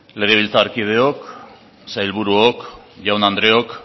legebiltzarkideok sailburuok jaun andreok